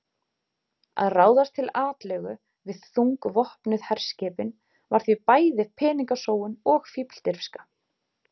Að ráðast til atlögu við þungvopnuð herskipin var því bæði peningasóun og fífldirfska.